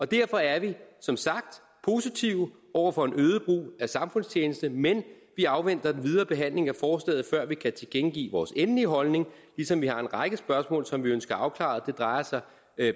derfor er vi som sagt positive over for en øget brug af samfundstjeneste men vi afventer den videre behandling af forslaget før vi kan tilkendegive vores endelige holdning ligesom vi har en række spørgsmål som vi ønsker afklaret det drejer sig